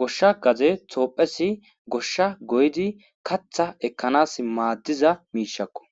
goshsha gaze toophesi goshsha goydi katha ekkanas maaddiza miishakko.